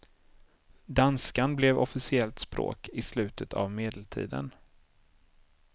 Danskan blev officiellt språk i slutet av medeltiden.